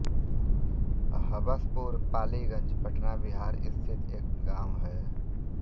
हबसपुर पालीगंज पटना बिहार स्थित एक गाँव है